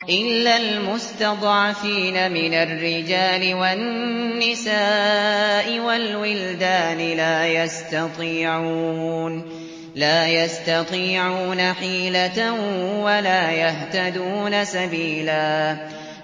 إِلَّا الْمُسْتَضْعَفِينَ مِنَ الرِّجَالِ وَالنِّسَاءِ وَالْوِلْدَانِ لَا يَسْتَطِيعُونَ حِيلَةً وَلَا يَهْتَدُونَ سَبِيلًا